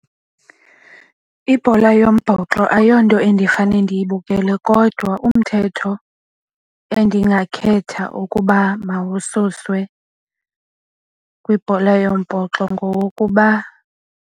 Ibhola yombhoxo ayonto endifane ndiyibukele kodwa umthetho endingakhetha ukuba mawususwe kwibhola yombhoxo ngowokuba.